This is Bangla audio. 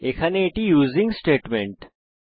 এখানে এটি ইউসিং স্টেটমেন্ট